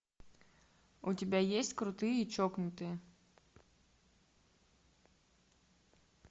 у тебя есть крутые и чокнутые